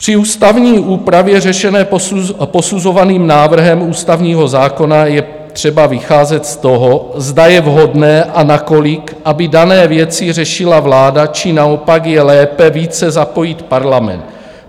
Při ústavní úpravě řešené posuzovaným návrhem ústavního zákona je třeba vycházet z toho, zda je vhodné a nakolik, aby dané věci řešila vláda, či naopak je lépe více zapojit parlament.